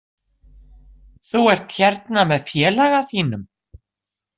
Þú ert hérna með félaga þínum?